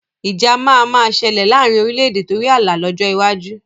Ìjà máa ma ṣẹlẹ̀ laarin orílédé torí ààlà lọ́jọ́ iwájú